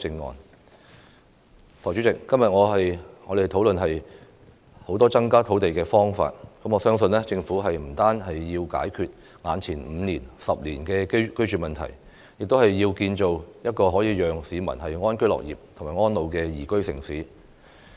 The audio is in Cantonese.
代理主席，今天我們討論了很多增加土地的方法，我相信政府不單要解決眼前5年、10年的居住問題，而是要建造可以讓市民安居樂業和安老的宜居城市。